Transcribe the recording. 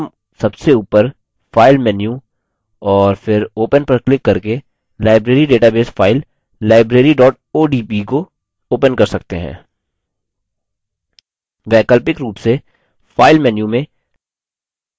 तो हम सबसे ऊपर file menu और फिर open पर क्लिक करके library database file library odb को open कर सकते हैं